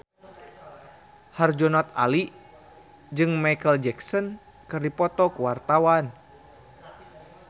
Herjunot Ali jeung Micheal Jackson keur dipoto ku wartawan